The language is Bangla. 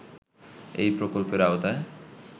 এই প্রকল্পের আওতায়